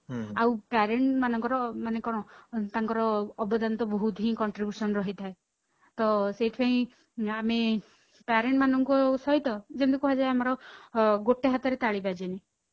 ଆଉ parent ମାନକର ମାନେ କଣ ତାଙ୍କର ଅବୟଦାନ ତ ବହୁତ ହିଁ contribution ରହିଥାଏ ତ ସେଇଥି ପାଇଁ ଆମେ parent ମାନଙ୍କ ସହିତ ଯେମିତି କୁହାଯାଏ ଆମର ଅ ଗୋଟେ ହାତରେ ତାଳି ବାଜେନି